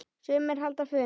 Sumir halda fund.